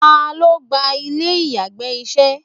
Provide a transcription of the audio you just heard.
Ta lo gba ilè íyarà iṣẹ?